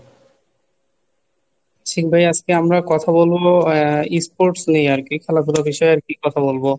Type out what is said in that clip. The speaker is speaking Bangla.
আশিক ভাই আজকে আমরা কথা বলবো আহ sports নিয়ে আর কি খেলাধুলার বিষয়ে আর কি কথা বলবো